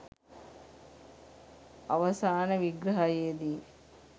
අවසාන විග්‍රහයේ දී